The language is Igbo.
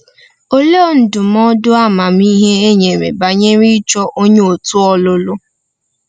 Olee ndụmọdụ amamihe e nyere banyere ịchọ onye òtù ọlụlụ?